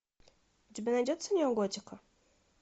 у тебя найдется неоготика